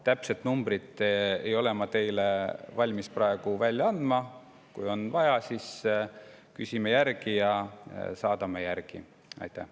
Täpset numbrit ei ole ma valmis praegu teile, aga kui on vaja, siis küsime järgi ja saadame teile.